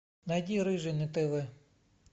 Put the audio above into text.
найди рыжий на тв